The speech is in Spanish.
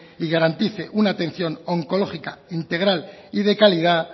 y garantice una atención oncológica integral y de calidad